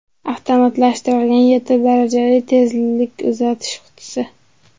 Avtomatlashtirilgan yetti darajali tezlik uzatish qutisi.